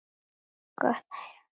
Gott að heyra.